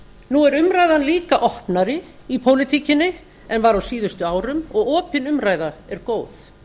nú er umræðan líka opnari í pólitíkinni en var á síðustu árum og opin umræða er góð